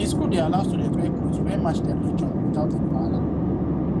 di school dey allow students wear cloth wey match their religion without any wahala